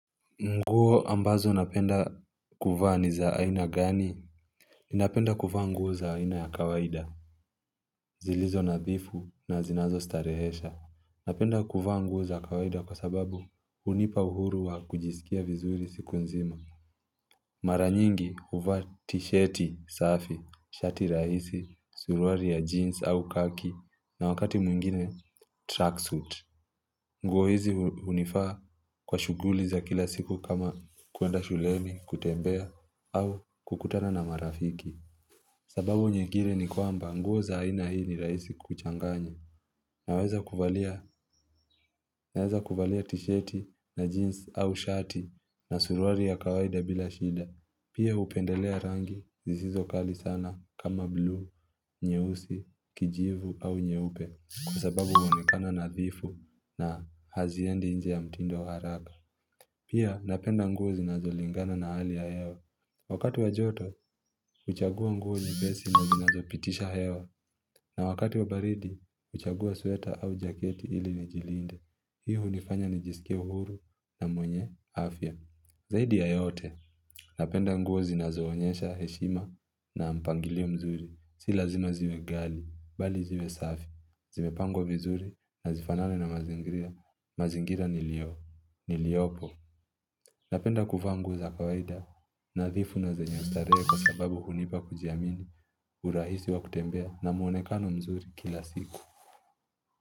Nguo ambazo napenda kuvaa ni za aina gani? Ninapenda kuvaa nguo za aina ya kawaida. Zilizo nadhifu na zinazostarehesha. Napenda kuvaa nguo za kawaida kwa sababu hunipa uhuru wa kujisikia vizuri siku nzima Mara nyingi huvaa t-shirti safi, shati rahisi, suruali ya jeans au khaki na wakati mwingine tracksuit nguo hizi hunifaa kwa shughuli za kila siku kama kuenda shuleni kutembea au kukutana na marafiki sababu nyingine ni kwamba nguo za haina hii ni rahisi kuchanganya Naweza kuvalia t-shirti na jeans au shati na suruali ya kawaida bila shida. Pia hupendelea rangi zisizo kali sana kama blue, nyeusi, kijivu au nyeupe kwa sababu huonekana nadhifu. Na haziendi nje ya mtindo haraka. Pia napenda nguo zinazolingana na hali ya hewa. Wakati wa joto, huchagua nguo nyepesi na zinazopitisha hewa. Na wakati wa baridi, huchagua sweta au jaketi ili nijilinde. Hii hunifanya nijisike uhuru na mwenye afya. Zaidi ya yote, napenda nguo zinazoonyesha heshima na mpangilio mzuri. Si lazima ziwe ghali, bali ziwe safi. Zimepangwa vizuri na zifanane na mazingira mazingira nilio, niliopo Napenda kuvaa nguo za kawaida, nadhifu na zenye ustarehe kwa sababu hunipa kujiamini urahisi wa kutembea na mwonekano mzuri kila siku.